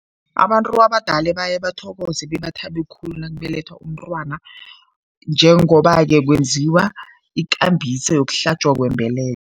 Abantu abadala baye bathokoze bebathabe khulu nakubelethwa umntwana njengoba-ke kwenziwa ikambiso yokuhlatjwa kwembeleko.